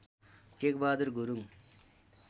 Tekbahadur Gurung